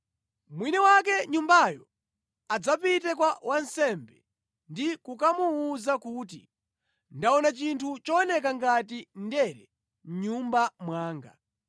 mwini wake nyumbayo adzapite kwa wansembe ndi kukamuwuza kuti, ‘Ndaona chinthu chooneka ngati ndere mʼnyumba mwanga.’